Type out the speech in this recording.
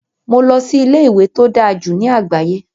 Mo lọ sí ilé-ìwé tó dáa jù ní àgbáyé,